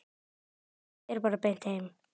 Ég fer bara beint heim.